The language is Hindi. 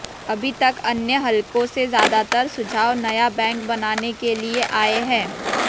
अभी तक अन्य हलकों से ज्यादातर सुझाव नया बैंक बनाने के लिए आए हैं